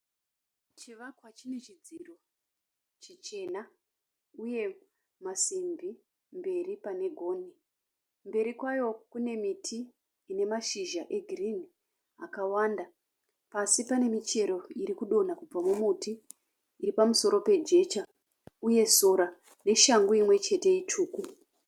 Chivakwa chine chidziro chichena uye masimbi mberi pane gonhi. Mberi kwayo kune miti ine mashizha egirinhi akawanda. Pasi pane michero irikudonha kubva mumuti iri pamusoro pejecha uye sora neshangu imwechete itsvuku.